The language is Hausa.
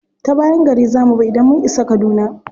Ta bayan gari za mu bi idan mun isa kaduna.